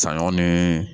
Saɲɔ ni